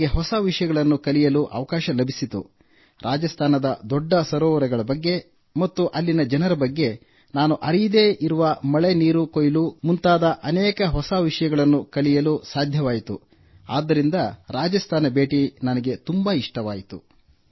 ನಾವು ಹೊಸ ವಿಷಯಗಳನ್ನು ಕಲಿಯಲು ಅವಕಾಶ ಲಭಿಸಿತು ರಾಜಸ್ಥಾನದ ದೊಡ್ಡ ಸರೋವರಗಳ ಬಗ್ಗೆ ಮತ್ತು ಅಲ್ಲಿನ ಜನರ ಬಗ್ಗೆ ನಾನು ಅರಿಯದೇ ಇರುವ ಮಳೆ ನೀರು ಕೊಯ್ಲು ಮುಂತಾದ ಅನೇಕ ಹೊಸ ವಿಷಯಗಳನ್ನು ಕಲಿಯಲು ಸಾಧ್ಯವಾಯಿತು ಆದ್ದರಿಂದ ರಾಜಸ್ಥಾನ ಭೇಟಿ ನನಗೆ ತುಂಬಾ ಇಷ್ಟವಾಯಿತು